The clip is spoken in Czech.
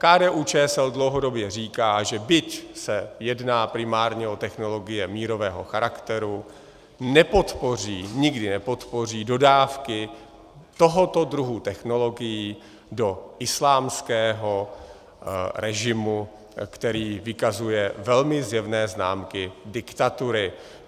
KDU-ČSL dlouhodobě říká, že, byť se jedná primárně o technologie mírového charakteru, nepodpoří, nikdy nepodpoří dodávky tohoto druhu technologií do islámského režimu, který vykazuje velmi zjevné známky diktatury.